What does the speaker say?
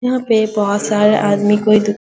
यहां पे बहुत सारा आदमी कोई --